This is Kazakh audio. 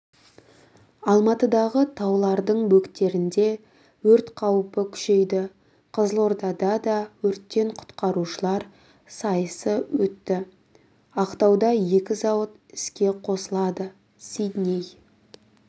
алматыдағы таулардың бөктерінде өрт қаупі күшейді қызылордада да өрттен құтқарушылар сайысы өтті ақтауда екі зауыт іске қосылады сидней